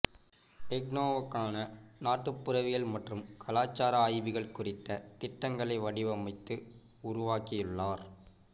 இக்னோவுக்கான நாட்டுப்புறவியல் மற்றும் கலாச்சார ஆய்வுகள் குறித்த திட்டங்களை வடிவமைத்து உருவாக்கியுள்ளார்